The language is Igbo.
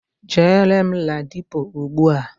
Jere m Ladipo ugbua.